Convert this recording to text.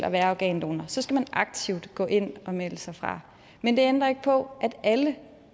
at være organdonor så skal man aktivt gå ind og melde sig fra men det ændrer ikke på at alle